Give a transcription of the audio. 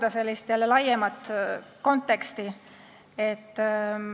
Aga ma saan jälle pakkuda laiemat konteksti.